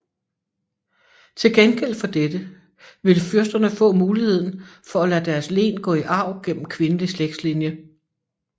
Til gengæld for dette ville fyrsterne få muligheden for at lade deres len gå i arv gennem kvindelig slægtslinje